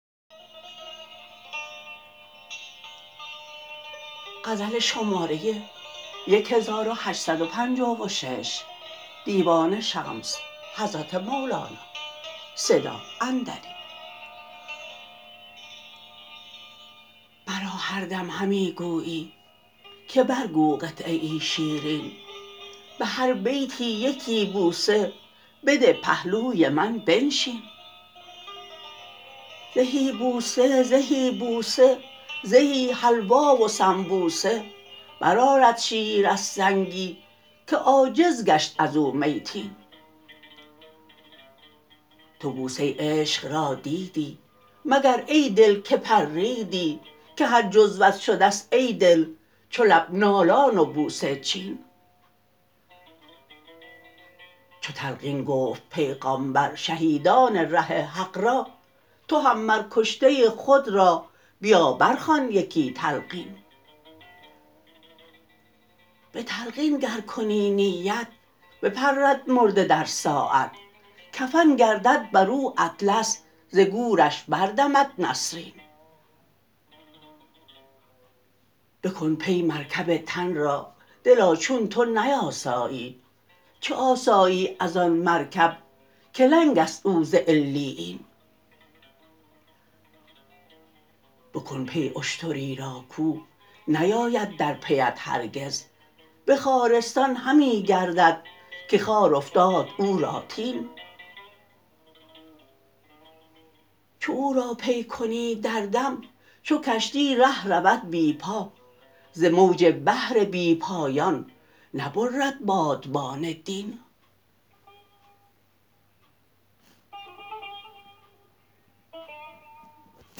مرا هر دم همی گویی که برگو قطعه شیرین به هر بیتی یکی بوسه بده پهلوی من بنشین زهی بوسه زهی بوسه زهی حلوا و سنبوسه برآرد شیر از سنگی که عاجز گشت از او میتین تو بوسه عشق را دیدی مگر ای دل که پریدی که هر جزوت شده ست ای دل چو لب نالان و بوسه چین چو تلقین گفت پیغامبر شهیدان ره حق را تو هم مر کشته خود را بیا برخوان یکی تلقین به تلقین گر کنی نیت بپرد مرده در ساعت کفن گردد بر او اطلس ز گورش بردمد نسرین بکن پی مرکب تن را دلا چون تو نیاسایی چه آسایی از آن مرکب که لنگ است او ز علیین بکن پی اشتری را کاو نیاید در پی ات هرگز به خارستان همی گردد که خار افتاد او را تین چو او را پی کنی در دم چو کشتی ره رود بی پا ز موج بحر بی پایان نبرد بادبان دین